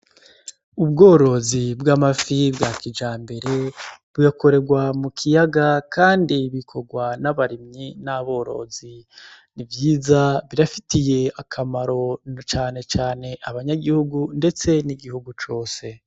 Ubworozi bw'amafi bwa kijambere, bugakorerwa mu kiyaga, kandi bikorwa n'abarimyi n'aborozi. Ni vyiza birafitiye akamaro na cane cane abanyagihugu, ndetse n'igihugu cose.